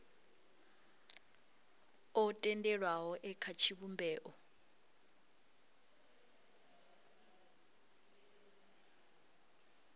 o tendelwaho e kha tshivhumbeo